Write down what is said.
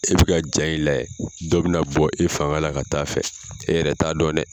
I bi ka ja in layɛ, dɔ be na bɔ i fanga la ka taa fɛ e yɛrɛ t'a dɔn dɛ.